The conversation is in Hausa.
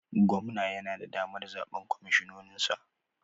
Gwamna yana da damar zaɓen kwamishinoninsa?